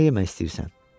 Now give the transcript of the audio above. Nə yemək istəyirsən?